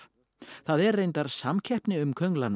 það er reyndar samkeppni um